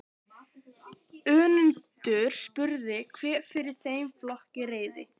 Önundur spurði hver fyrir þeim flokki réði.